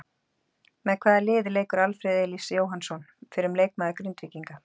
Með hvaða liði leikur Alfreð Elías Jóhannsson fyrrum leikmaður Grindvíkinga?